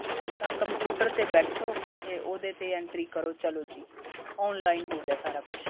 ਤਾਂ computer ਤੇ ਬੈਠੋ ਤੇ ਉਹਦੇ ਤੇ entry ਕਰੋ ਚਲੋ ਜੀ online ਹੋ ਗਿਆ ਸਾਰਾ ਕੁੱਛ